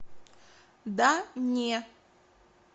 да не